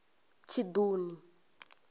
tshiṱuni